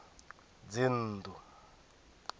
dzinnḓu